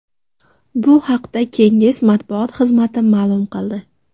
Bu haqda Kenges matbuot xizmati ma’lum qildi .